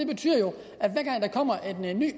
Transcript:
betyder jo